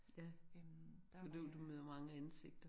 Ja men du du møder mange ansigter